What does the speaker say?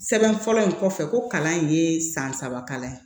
Sɛbɛn fɔlɔ in kɔfɛ ko kalan ye san saba kalan ye